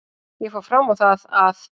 Ég fór fram á það að